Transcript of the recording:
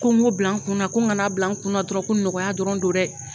Ko n ŋ'o bila n kunna, ko n ŋana bila n kunna dɔrɔn, ko nɔgɔya dɔrɔn don dɛ